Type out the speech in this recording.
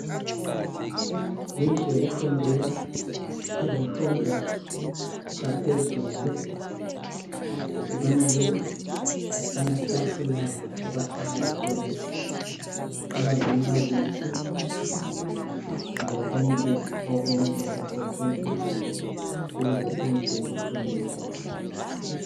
Yindlu yokufundela izifundo zaphezulu. Sibona ke amatafula abahlala kuwo. Kulalombalisi lokunye okumele kusetshenziswe kule indlu yokufundela.